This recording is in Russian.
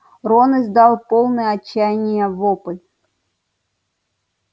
рон издал полный отчаяния вопль